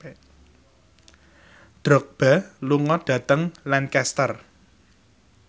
Drogba lunga dhateng Lancaster